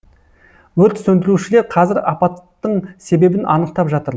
өрт сөндірушілер қазір апаттың себебін анықтап жатыр